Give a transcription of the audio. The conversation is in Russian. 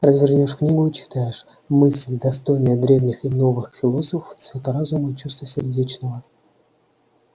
развернёшь книгу и читаешь мысль достойная древних и новых философов цвет разума и чувства сердечного